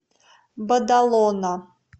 бадалона